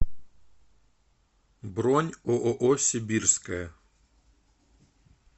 бронь ооо сибирская